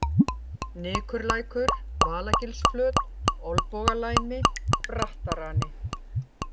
Nykurlækur, Valagilsflöt, Olnbogalæmi, Brattarani